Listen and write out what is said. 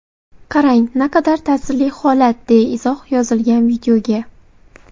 Qarang, naqadar ta’sirli holat”, deya izoh yozilgan videoga.